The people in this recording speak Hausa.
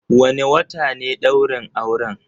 Wane wata ne ɗaurin auren?